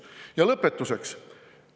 Ja lõpetuseks.